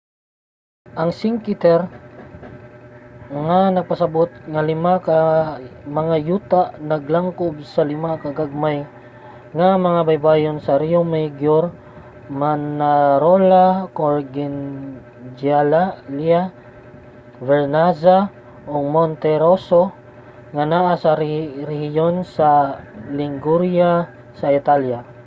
ang cinque terre nga nagpasabut nga lima ka mga yuta naglangkob sa lima ka gagmay nga mga baybayon sa riomaggiore manarola corniglia vernazza ug monterosso nga naa sa rehiyon sa liguria sa italya